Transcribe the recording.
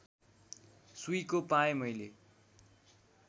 सुइँको पाएँ मैले